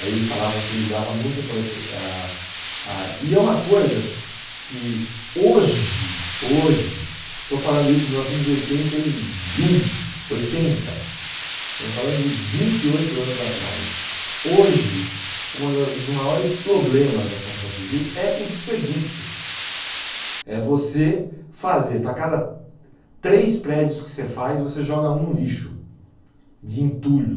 aí eles falavam que ele dava muita importân porque a a e é uma coisa que hoje hoje estou falando isso de mil novecentos e oitenta e um, oitenta, estamos falando de vinte e oito anos atrás hoje um dos maiores problemas da construção civil é o desperdício é você fazer para cada três prédios que você faz, você joga um no lixo de entulho